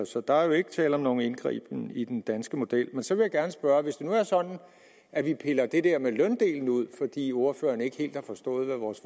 så der er jo ikke tale om nogen indgriben i den danske model men så vil jeg gerne spørge hvis det nu er sådan at vi piller det der med løndelen ud fordi ordføreren ikke helt har forstået hvad vores